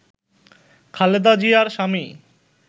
খালেদা জিয়ার স্বামী